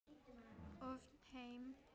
ofnæm heyrn